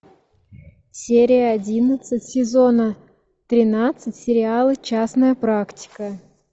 серия одиннадцать сезона тринадцать сериала частная практика